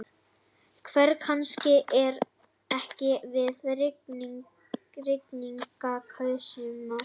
Hver kannast ekki við rigningasumur?